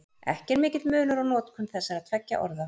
Ekki er mikill munur á notkun þessara tveggja orða.